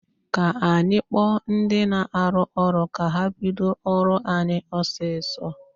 Kaa anyị kpọọ ndi na-arụ ụlọ ka ha bido ụlọ anyị ọsịsọ